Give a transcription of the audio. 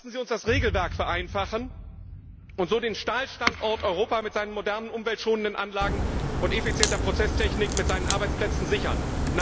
Lassen Sie uns das Regelwerk vereinfachen und so den Stahlstandort Europa mit seinen modernen umweltschonenden Anlagen und effizienten Prozesstechnik und seine Arbeitsplätze sichern!